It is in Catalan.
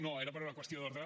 no era per una qüestió d’ordre